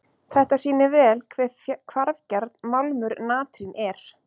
Þetta sýnir vel hve hvarfgjarn málmur natrín er.